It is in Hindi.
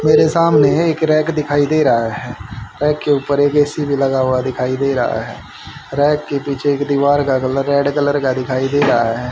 मेरे सामने एक रैक दिखाई दे रहा है रैक के ऊपर एक ए_सी भी लगा हुआ दिखाई दे रहा है रैक के पीछे एक दीवार का कलर रेड कलर का दिखाई दे रहा है।